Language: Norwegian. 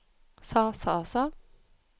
sa sa sa